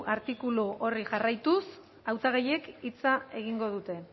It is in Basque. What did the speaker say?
artikulu horri jarraituz hautagaiek hitz egingo dute